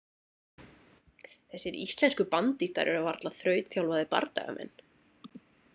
Þessir íslensku bandíttar eru varla þrautþjálfaðir bardagamenn.